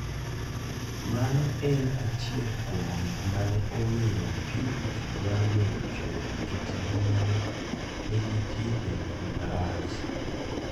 Mano en achiel kuom gik mane omiyo Purity dwaro weyo chode nikech ngimane ne nitie e kuma rach.